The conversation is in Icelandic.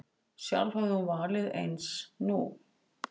Sjálf hefði hún valið eins nú.